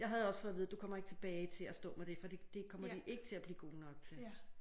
Jeg havde også fået at vide du kommer ikke til at stå med det for det det kommer de ikke til at blive gode nok til